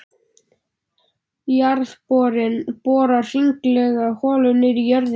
Jarðborinn borar hringlaga holu niður í jörðina.